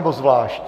Nebo zvlášť?